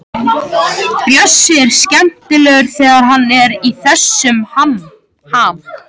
Bjössi er skemmtilegur þegar hann er í þessum ham.